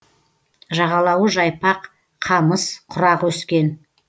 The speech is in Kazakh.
жағалауы жайпақ қамыс құрақ өскен